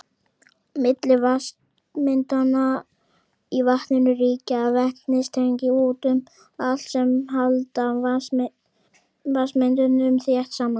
Milli vatnssameindanna í vatninu ríkja vetnistengi út um allt sem halda vatnssameindunum þétt saman.